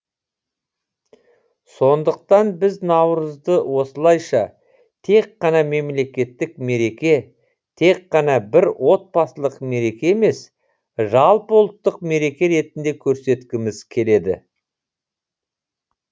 сондықтан біз наурызды осылайша тек қана мемлекеттік мереке тек қана бір отбасылық мереке емес жалпыұлттық мереке ретінде көрсеткіміз келеді